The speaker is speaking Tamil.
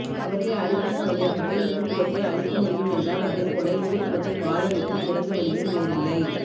அவற்றை அழிப்பதன் வழியாகவே இந்த்துவத்தை அழிக்கமுடியும் என்றால் அதைப்போல இந்துத்துவத்தை வாழவைக்கும் சிறந்த வழியும் வேறில்லை